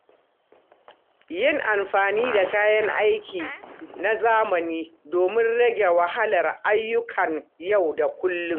Yin amfani da kayan aiki na zamani domi rage wahalar ayyukan yau da kullum.